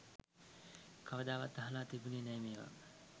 කවදාවත් අහල තිබුණෙ නෑ මේවා.